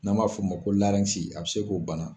N'an b'a fɔ ma ko a bɛ se k'o bana